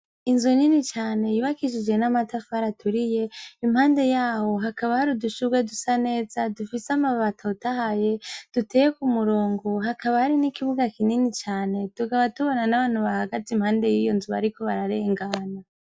Inzu nini cane yibakishije n'amatafari aturiye, impande y'aho hakaba hari udushurwe dusa neza dufise amababi atotahaye duteye ku murongo hakaba hari n'ikibuga kinini cane tugaba tubona n'abantu bahagatze impande y'iyo nzu bariko bararengana.